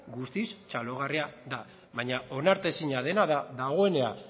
guztiz txalogarria da baina onartezina dena da dagoena